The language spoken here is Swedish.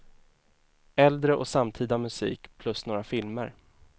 Äldre och samtida musik plus några filmer.